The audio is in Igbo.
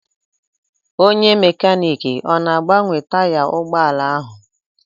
Onye mekaniiki ọ na-agbanwe taya ụgbọala ahụ?